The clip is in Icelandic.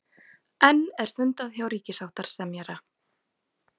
Enn er fundað hjá ríkissáttasemjara